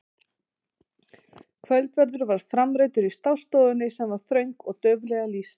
Kvöldverður var framreiddur í stássstofunni sem var þröng og dauflega lýst.